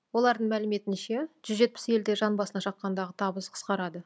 олардың мәліметінше жүз жетпіс елде жан басына шаққандағы табыс қысқарады